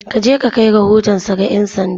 Ka je ka kai rahotonsa ga ’yan sanda!